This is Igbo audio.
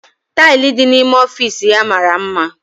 Tili di na-ime ọfịs ya mara mma.